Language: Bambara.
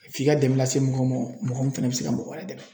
F'i ka dɛmɛ lase mɔgɔ ma mɔgɔ min fɛnɛ bɛ se ka mɔgɔ wɛrɛ dɛmɛ.